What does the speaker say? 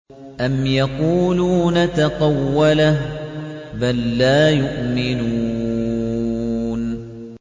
أَمْ يَقُولُونَ تَقَوَّلَهُ ۚ بَل لَّا يُؤْمِنُونَ